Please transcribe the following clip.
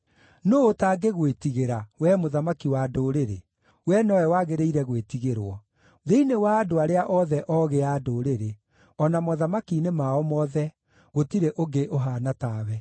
Nũũ ũtangĩgwĩtigĩra, Wee mũthamaki wa ndũrĩrĩ? Wee nowe wagĩrĩire gwĩtigĩrwo. Thĩinĩ wa andũ arĩa othe oogĩ a ndũrĩrĩ, o na mothamaki-inĩ mao mothe, gũtirĩ ũngĩ ũhaana tawe.